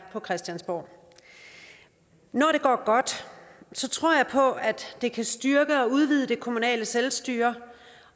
på christiansborg når det går godt tror jeg på at det kan styrke og udvide det kommunale selvstyre